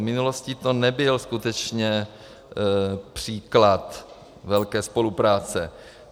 V minulosti to nebyl skutečně příklad velké spolupráce.